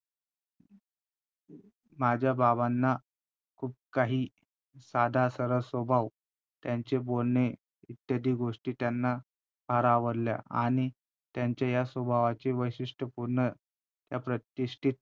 माझ्या बाबांना खूप काही साधा सरळ स्वभाव त्यांचे बोलणे इत्यादी गोष्टी त्यांना फार आवडल्या आणि त्यांच्या या स्वभावाचे वैशिष्ट्य पूर्ण त्या प्रतिष्ठित